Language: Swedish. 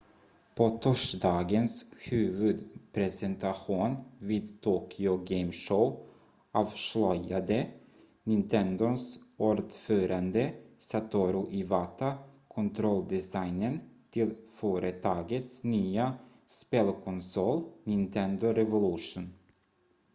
på torsdagens huvudpresentation vid tokyo game show avslöjade nintendos ordförande satoru iwata kontrolldesignen till företagets nya spelkonsol nintendo revolution